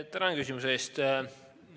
Tänan küsimuse eest!